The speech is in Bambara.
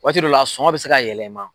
Waati dɔw la a sɔgɔn bi se ka yɛlɛma ma